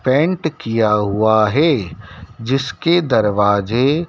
paint किया हुआ है जिसके दरवाजे--